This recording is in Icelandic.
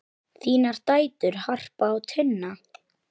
Þínar dætur, Harpa og Tinna.